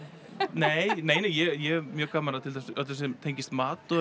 nei nei nei ég hef mjög gaman af til dæmis öllu sem tengist mat og